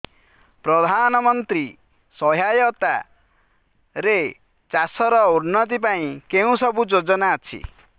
ପ୍ରଧାନମନ୍ତ୍ରୀ ସହାୟତା ରେ ଚାଷ ର ଉନ୍ନତି ପାଇଁ କେଉଁ ସବୁ ଯୋଜନା ଅଛି